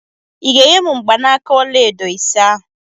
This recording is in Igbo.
I ga-enye m mgbanaka ọla edo ise ahụ?